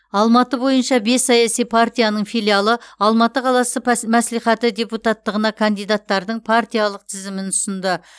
алматы бойынша бес саяси партияның филиалы алматы қаласы пәс мәслихаты депутаттығына кандидаттардың партиялық тізімін ұсынды